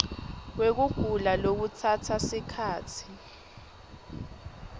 wekugula lokutsatsa sikhatsi